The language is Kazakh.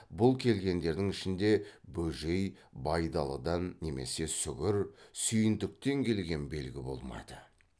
бұл келгендердің ішінде бөжей байдалыдан немесе сүгір сүйіндіктен келген белгі болмады